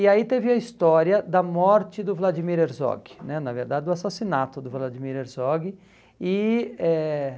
E aí teve a história da morte do Vladimir Herzog né, na verdade do assassinato do Vladimir Herzog. E eh